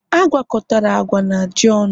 Agwakọtala agwa na ji ọnụ!